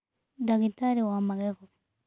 Ndagitarĩ wa magego.